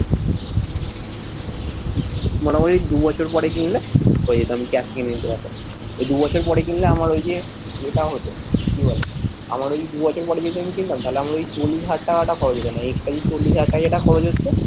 মানে ওই দুবছর পরে কিনলে হয়ে যেত আমি cash দিয়ে নিতে পারতাম এই দুবছর পরে কিনলে আমার ঐযে ইয়েটা হতো কি বলে আমার ওই দুবছর পরে যদি আমি কিনতাম তাহলে আমার ওই চল্লিশ হাজার টাকাটা খরচ হত না extra যে চল্লিশ হাজার টাকা যেটা খরচ হচ্ছে।